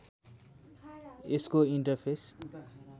यसको इन्टरफेस